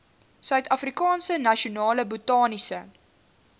suidafrikaanse nasionale botaniese